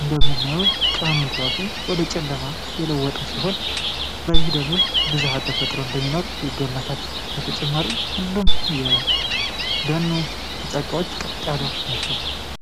እንደምትመለከቱት ቀኑን ራሱ ወደ ጨለማ የለወጠ ሲሆን በዚህ ደኑ ውስጥ ብዛሃተፈጥሮ እንደሚኖር ይገመታል ለተጨማሪም ሁሉም የደኑ ጫካዎች ቀጥ ያሉ ናቸው።